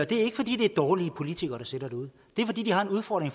det er ikke fordi det er dårlige politikere der sidder derude det er fordi de har en udfordring